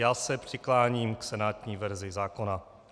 Já se přikláním k senátní verzi zákona.